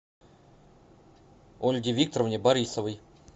ольге викторовне борисовой